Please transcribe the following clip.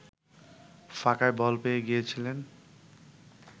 ফাঁকায় বল পেয়ে গিয়েছিলেন